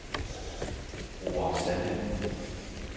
Roer Sande